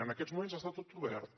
en aquests moments està tot obert